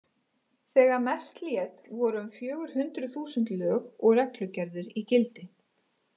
Þegar mest lét voru um fjögur hundruð þúsund lög og reglugerðir í gildi.